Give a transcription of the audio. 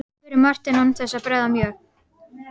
spurði Marteinn án þess að bregða mjög.